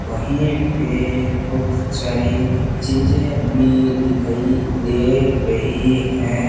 वहीं पे कुछ सारी चीजें भी दिखाई दे रही हैं।